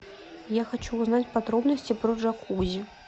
я хочу узнать подробности про джакузи